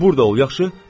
Burada ol, yaxşı?